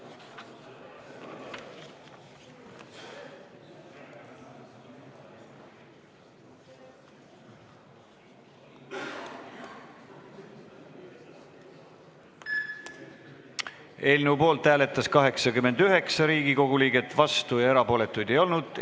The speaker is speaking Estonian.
Hääletustulemused Eelnõu poolt hääletas 89 Riigikogu liiget, vastuolijaid ega erapooletuid ei olnud.